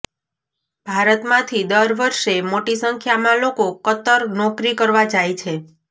ભારતમાંથી દર વર્ષે મોટી સંખ્યામાં લોકો કતર નોકરી કરવા જાય છે